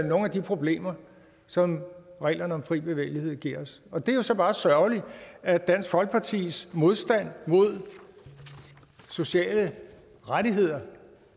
de problemer som reglerne om den fri bevægelighed giver os og det er jo så bare sørgeligt at dansk folkepartis modstand mod sociale rettigheder